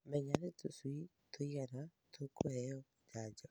Menya nĩ tũcui tũigana tũkũheo njanjo.